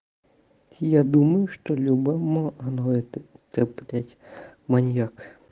я думаю что любому она это ты блять маньяк